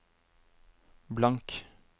blank